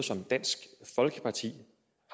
som dansk folkeparti